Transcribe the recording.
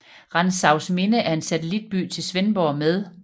Rantzausminde er en satellitby til Svendborg med